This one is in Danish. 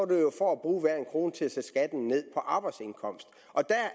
det jo for at bruge hver en krone til at sætte skatten ned på arbejdsindkomst og det